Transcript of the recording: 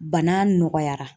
Bana nɔgɔyara.